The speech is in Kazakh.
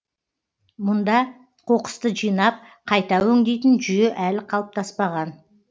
мұнда қоқысты жинап қайта өңдейтін жүйе әлі қалыптаспаған